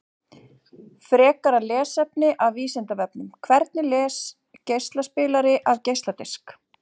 Frekara lesefni af Vísindavefnum: Hvernig les geislaspilari af geisladisk?